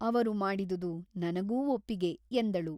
ಅವರು ಮಾಡಿದುದು ನನಗೂ ಒಪ್ಪಿಗೆ ಎಂದಳು.